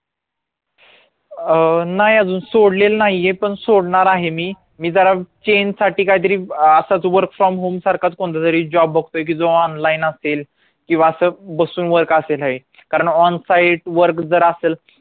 अं नाय आजून सोडले नाहीये पण सोडणार आहे मी, मी जरा change साठी काहीतरी असच work from home सारखाच कोणतातरी job जो की online असेल किंवा असं